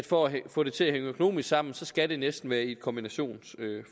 for at få det til at hænge økonomisk sammen skal det næsten være et kombinationsforløb